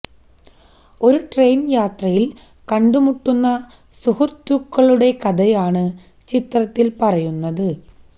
ഒരു ട്രെയിന് യാത്രയില് കണ്ടുമുട്ടുന്ന സുഹൃത്തുക്കളുടെ കഥയാണ് ചിത്രത്തില് പറയുന്നത്